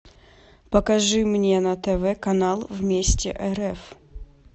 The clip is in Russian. покажи мне на тв канал вместе рф